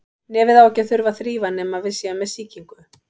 Nefið á ekki að þurfa að þrífa nema við séum með sýkingu.